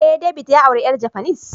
Eh, David ya aure yar japanese